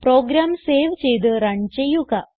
programme save ചെയ്ത് run ചെയ്യുക